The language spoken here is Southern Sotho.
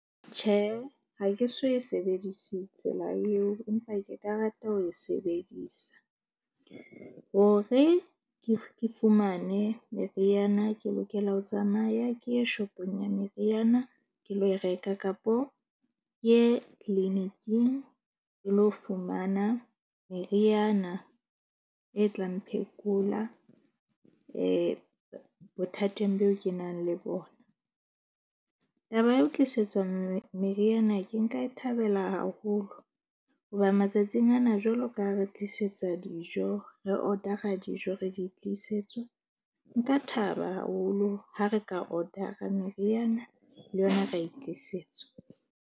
Tjhe, ha ke so e sebedise tsela eo, empa ke ka rata ho e sebedisa. Hore ke fumane meriana ke lokela ho tsamaya ke ye shop-ong ya meriana. Ke lo reka kapo ke ye clinic-ing ke lo fumana meriana e tlang phekola bothateng boo ke nang le bona. Taba ya ho tlisetswa meriana ke nka e thabela haholo hoba matsatsing ana, jwalo ka ha re tlisetsa dijo re order-a dijo, re di tlisetswa, nka thaba haholo ha re ka order-a meriana le yona ra e tlisetswa.